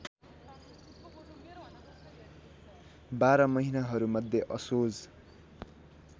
१२ महिनाहरूमध्ये असोज